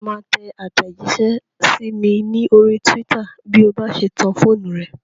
Ṣé o máa tẹ àtẹ̀jísẹ́ sí mi ní orí túwítà bí o bá ṣe tan fóònù rẹ?